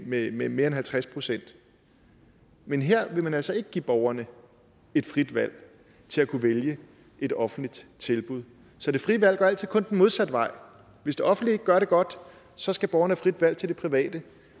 med med mere end halvtreds procent men her vil man altså ikke give borgerne et frit valg til at kunne vælge et offentligt tilbud så det frie valg går altid kun den modsatte vej hvis det offentlige ikke gør det godt så skal borgerne have frit valg til det private